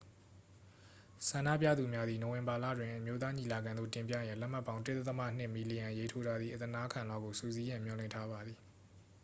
ဆန္ဒပြသူများသည် နိုဝင်ဘာလတွင် အမျိုးသားညီလာခံသို့ တင်ပြရန်လက်မှတ်ပေါင်း 1.2 မီလီယံရေးထိုးထားသည့် အသနားခံလွှာကို စုစည်းရန် မျှော်လင့်ထားပါသည်